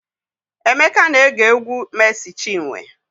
Emeka na-ege egwu Mery Chiwe.